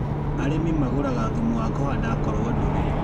Arĩmi magraga thumu wa kũhanda akorwo ndũrĩ.